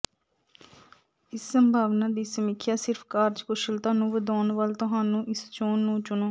ਇਸ ਸੰਭਾਵਨਾ ਦੀ ਸਮੀਖਿਆ ਸਿਰਫ ਕਾਰਜਕੁਸ਼ਲਤਾ ਨੂੰ ਵਧਾਉਣ ਵੱਲ ਤੁਹਾਨੂੰ ਇਸ ਚੋਣ ਨੂੰ ਚੁਣੋ